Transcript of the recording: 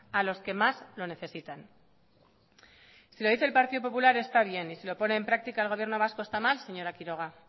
a los que más lo necesitan si lo dice el partido popular está bien y si lo pone en práctica el gobierno vasco está mal señora quiroga